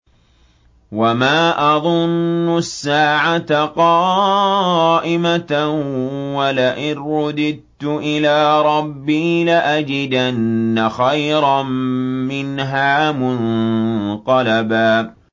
وَمَا أَظُنُّ السَّاعَةَ قَائِمَةً وَلَئِن رُّدِدتُّ إِلَىٰ رَبِّي لَأَجِدَنَّ خَيْرًا مِّنْهَا مُنقَلَبًا